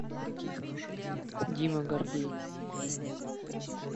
дима гордей